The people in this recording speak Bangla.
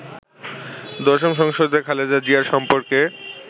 দশম সংসদে খালেদা জিয়ার সম্পর্কে